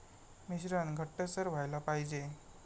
मिश्रण घट्टसर व्हायला पाहिजे.